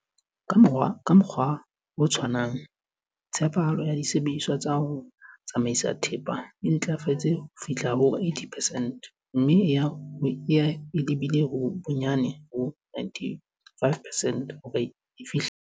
Ka mokgwa o tshwanang, tshepahalo ya disebediswa tsa ho tsamaisa thepa e ntlafetse ho fihla ho 80 percent mme e ya e lebile bonyane ho 95 percent hore e fihlele.